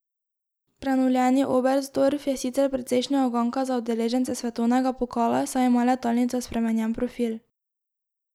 Prenovljeni Oberstdorf je sicer precejšnja uganka za udeležence svetovnega pokala, saj ima letalnica spremenjen profil.